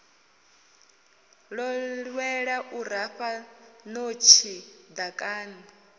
ḓowela u rafha ṋotshi ḓakani